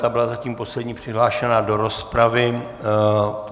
Ta byla zatím poslední přihlášená do rozpravy.